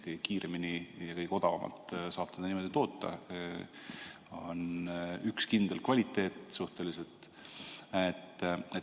Kõige kiiremini ja kõige odavamalt saab seda niimoodi toota ja on ka suhteliselt kindel kvaliteet.